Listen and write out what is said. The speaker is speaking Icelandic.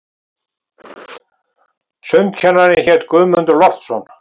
Sundkennarinn hét Guðmundur Loftsson.